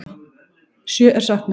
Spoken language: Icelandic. Sjö er saknað.